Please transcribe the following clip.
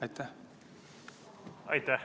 Aitäh!